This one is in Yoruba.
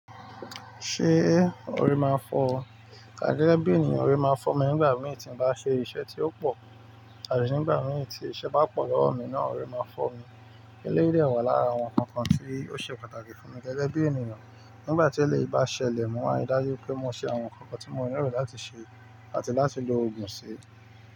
Ṣé orí máa ń fọ́ ọ? Gẹ́gẹ́ bí ènìyàn, orí máa ń fọ́ mi nígbà mìíràn tí mo bá ṣe iṣẹ́ tí ó pọ̀ àti nígbà mìíràn tí iṣẹ́ bá pọ̀ lọ́wọ́ mi náà orí máa ń fọ́ mi. Eléyìí dẹ̀ wà lára àwọn nǹkan tí ó ṣe pàtàkì fún mi gẹ́gẹ́ bí ènìyàn. Nígbà tí eléyìí bá ṣẹlẹ̀ mó, a lè dájú pé mo ṣe àwọn nǹkan tí mo nílò láti ṣe àti láti lo ògùn sí.